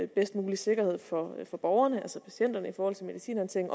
bedst mulige sikkerhed for borgerne altså patienterne i forhold til medicinhåndtering